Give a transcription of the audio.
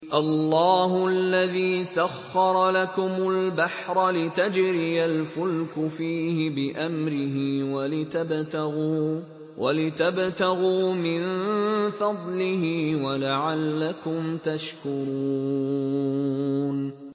۞ اللَّهُ الَّذِي سَخَّرَ لَكُمُ الْبَحْرَ لِتَجْرِيَ الْفُلْكُ فِيهِ بِأَمْرِهِ وَلِتَبْتَغُوا مِن فَضْلِهِ وَلَعَلَّكُمْ تَشْكُرُونَ